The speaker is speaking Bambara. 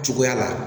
Cogoya la